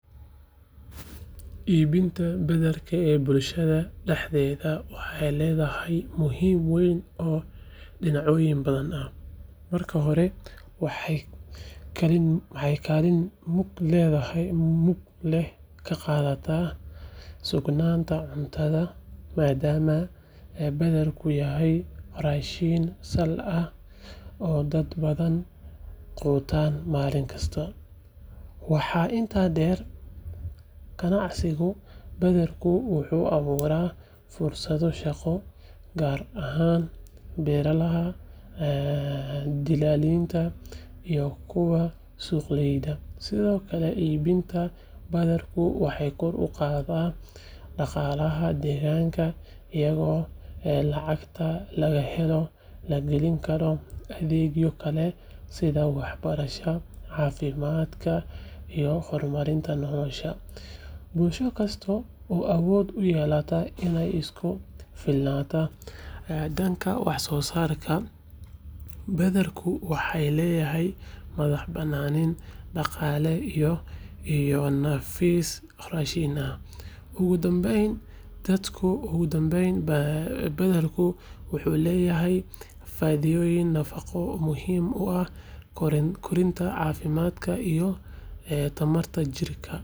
Iibinta badarka ee bulshada dhexdeeda waxay leedahay muhiimad weyn oo dhinacyo badan ah. Marka hore, waxay kaalin mug leh ka qaadataa sugnaanta cuntada, maadaama badarku yahay raashin sal ah oo dad badan quutaan maalin kasta. Waxaa intaa dheer, ganacsiga badarku wuxuu abuuraa fursado shaqo, gaar ahaan beeralayda, dilaaliinta, iyo kuwa suuqgeeya. Sidoo kale, iibinta badarku waxay kor u qaadaa dhaqaalaha deegaanka, iyadoo lacagta laga helo la gelin karo adeegyo kale sida waxbarashada, caafimaadka iyo horumarinta nolosha. Bulsho kasta oo awood u yeelata inay isku filnaato dhanka waxsoosaarka badarka waxay leedahay madax-bannaani dhaqaale iyo nafis raashin ah. Ugu dambayn, badarku wuxuu leeyahay faa’iidooyin nafaqo oo muhiim u ah koritaanka, caafimaadka iyo tamarta jirka.